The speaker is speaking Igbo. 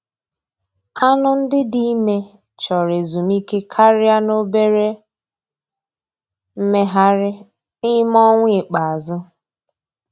Anụ ndị dị ime chọrọ ezumike karịa na obere mmegharị n'ime ọnwa ikpeazụ.